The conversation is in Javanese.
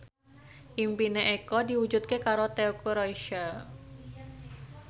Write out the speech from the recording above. impine Eko diwujudke karo Teuku Rassya